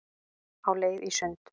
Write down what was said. Á leið í sund